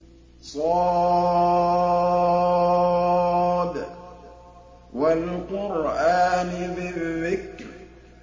ص ۚ وَالْقُرْآنِ ذِي الذِّكْرِ